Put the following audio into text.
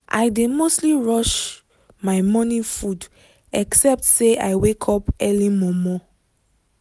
i dey mostly rush my morning food except say i wake up early mor mor